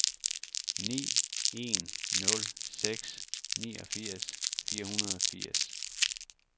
ni en nul seks niogfirs fire hundrede og firs